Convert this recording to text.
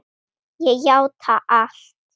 Ég játa allt